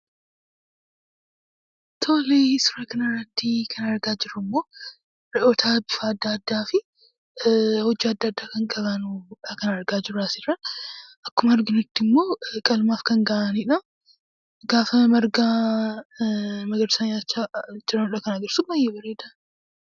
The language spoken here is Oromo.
Tolee suuraa kana irratti kan argaa jiruu immoo Re'oota adda addaafi hojaa adda addaa kan qabanidha kan argaa jiruu as irra. Akkuma arginuti immoo qalmaaf kan gahaanidha. Gafaa margaa nyachaa jiraanidha kan agarsisuu. Baay'ee bareeda.